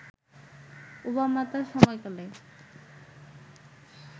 Obama তার সফরকালে